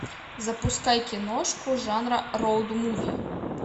запускай киношку жанра роуд муви